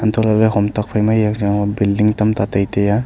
untoh lahley hom tok phaima eya yang changba billing tamta tai taiya.